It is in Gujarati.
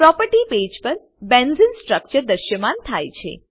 પ્રોપર્ટી પેજ પર બેન્ઝેને સ્ટ્રક્ચર દ્રશ્યમાન થાય છે